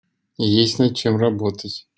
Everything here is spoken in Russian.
есть над чем работать